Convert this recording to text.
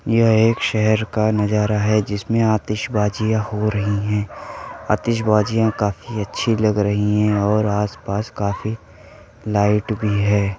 यह एक शहर का नजारा है जिसमें आतिशबाजियाँ हो रही हैं। आतिशबाजियाँ काफी अच्छी लग रही हैं और आस पास काफी लाइट भी है।